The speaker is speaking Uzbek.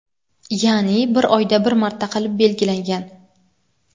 ya’ni bir oyda bir marta qilib belgilangan.